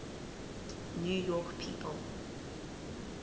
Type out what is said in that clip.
new york people